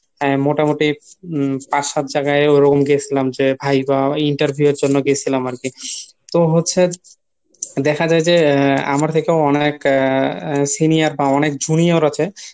মোটামুটি পাঁচ সাত জায়গায় ওরকম গেসিলাম যে ভাই interview এর জন্য গেসিলাম আরকি। তো হচ্ছে দেখা যায় যে আমার থেকেও অনেক senior বা junior আছে